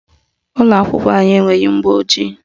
Ụlọakwụkwọ anyị enweghị mgbọojii